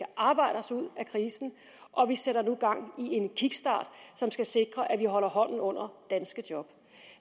arbejde os ud af krisen og vi sætter nu gang i en kickstart som skal sikre at vi holder hånden under danske job